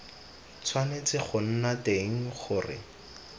tshwanetse go nna teng gore